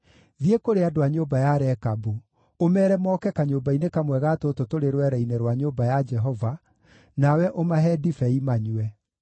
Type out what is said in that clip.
“Thiĩ kũrĩ andũ a nyũmba ya Rekabu, ũmeere moke kanyũmba-inĩ kamwe ga tũtũ tũrĩ rwere-inĩ rwa nyũmba ya Jehova, nawe ũmahe ndibei manyue.”